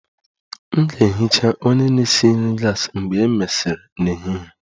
M ga-ehicha onye na-esi nri gas mgbe e mesịrị n'ehihie